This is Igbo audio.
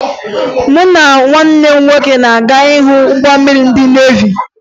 Mụ na nwanne m nwoke na-aga ịhụ ụgbọ mmiri ndị nevi